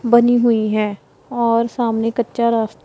बनी हुई हैं और सामने कच्चा रास--